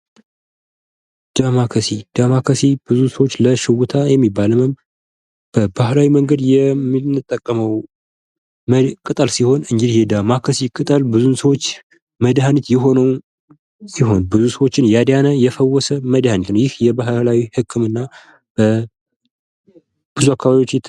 ዳማ ካሴ ። ዳማ ካሴ ብዙ ሰዎች ለሽውታ ለሚባል ህመም በባህላዊ መንገድ የምንጠቀመው ቅጠል ሲሆን እንግዲህ የዳማ ካሴ ቅጠል ብዙ ሰዎች መድኃኒት የሆነ ሲሆን ብዙ ሰዎችን ያዳነ የፈወሰ መድሃኒት ነው ። ይህ የባህላዊ ህክምና በብዙ አካባቢዎች ።